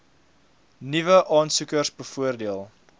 nuwe aansoekers bevoordeel